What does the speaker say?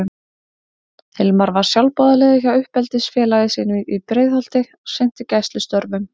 Hilmar var sjálfboðaliði hjá uppeldisfélagi sínu í Breiðholti og sinnti gæslustörfum.